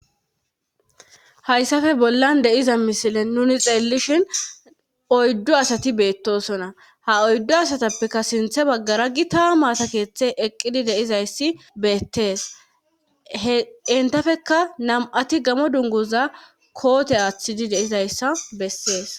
Haysafe bollan de7iza misilen nuni xeellishin oyddu asati beettoosona ha oyddu asatapekka sintha baggara gita maata keethey eqqidi de7izayssi beettes hentapekka nam7ati gamo dunguza koote aathidi de7izayssa bessees.